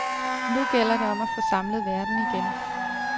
Nu gælder det om at få samlet verden igen.